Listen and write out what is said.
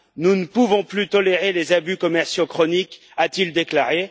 Nous ne pouvons plus tolérer les abus commerciaux chroniques, a t il déclaré.